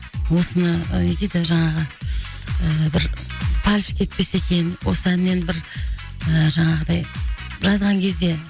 осыны не дейді жаңағы ыыы бір фальш кетпесе екен осы әннен бір ы жаңағыдай жазған кезде